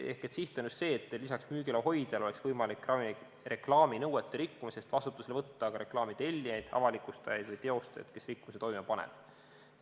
Ehk siht on just see, et lisaks müügiloa hoidjale oleks võimalik ravimireklaami nõuete rikkumise eest vastutusele võtta ka reklaami tellijaid, avalikustajaid või teostajaid, kes rikkumise toime panevad.